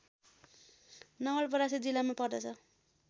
नवलपरासी जिल्लामा पर्दछ